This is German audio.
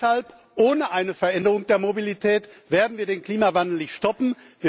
Deshalb Ohne Veränderung der Mobilität werden wir den Klimawandel nicht stoppen.